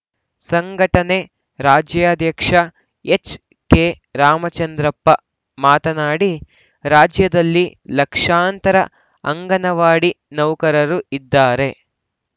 ಸಂಘಟನೆ ರಾಜ್ಯಾಧ್ಯಕ್ಷ ಎಚ್‌ಕೆರಾಮಚಂದ್ರಪ್ಪ ಮಾತನಾಡಿ ರಾಜ್ಯದಲ್ಲಿ ಲಕ್ಷಾಂತರ ಅಂಗನವಾಡಿ ನೌಕರರು ಇದ್ದಾರೆ